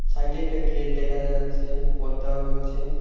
সাইটে একটা গেট দেখা যাচ্ছে পর্দাও রয়েছে।